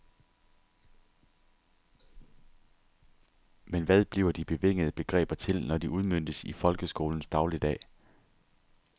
Men hvad bliver de bevingede begreber til, når de udmøntes i folkeskolens dagligdag.